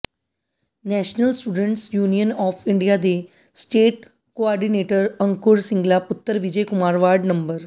national students union of India ਦੇ state coordinator Ankur Singla ਪੁੱਤਰ Vijay Kumar ward ਨੰ